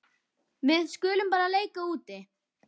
Við skulum bara leika úti.